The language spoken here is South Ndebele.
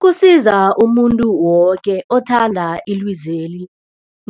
Kusiza umuntu woke othanda ilizweli